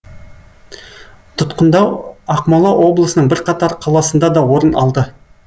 тұтқындау ақмола облысының бірқатар қаласында да орын алды